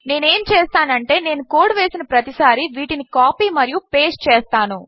నేనుఏమిచేస్తానంటే నేనుకోడ్వేసినప్పుడుప్రతిసారి వీటినికాపీమరియుపేస్ట్చేస్తాను